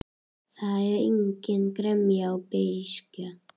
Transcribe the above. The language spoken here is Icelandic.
Það var engin gremja og engin beiskja.